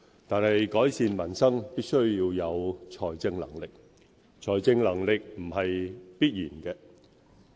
但是，改善民生必須要有財政能力，而財政能力不是必然的。